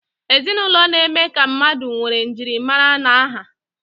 Ezinụlọ na-eme ka mmadụ nwee njirimara na aha